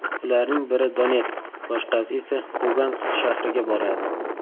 Ularning biri Donetsk, boshqasi esa Lugansk shahriga boradi.